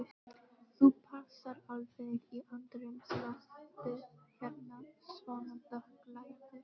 Þú passar alveg í andrúmsloftið hérna, svona dökkklæddur.